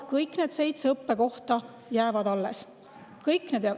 Kõik need seitse õppekohta jäävad alles, kõik need …